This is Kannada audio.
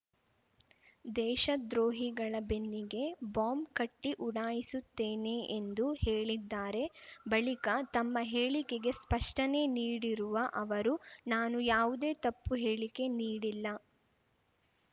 ದೇಶದ್ರೋಹಿಗಳ ಬೆನ್ನಿಗೆ ಬಾಂಬ್‌ ಕಟ್ಟಿಉಡಾಯಿಸುತ್ತೇನೆ ಎಂದು ಹೇಳಿದ್ದಾರೆ ಬಳಿಕ ತಮ್ಮ ಹೇಳಿಕೆಗೆ ಸ್ಪಷ್ಟನೆ ನೀಡಿರುವ ಅವರು ನಾನು ಯಾವುದೇ ತಪ್ಪು ಹೇಳಿಕೆ ನೀಡಿಲ್ಲ